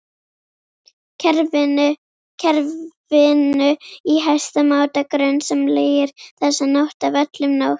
kerfinu í hæsta máta grunsamlegir, þessa nótt af öllum nótt